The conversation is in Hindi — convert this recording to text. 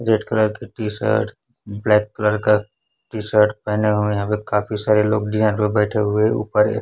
रेड कलर की टी शर्ट ब्लैक कलर का टी शर्ट पहने हुए यहां पे काफी सारे लोग डिनर पे बैठे हुए ऊपर ये--